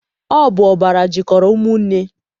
Ọ bụ ọbara jikọrọ ụmụnne.